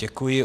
Děkuji.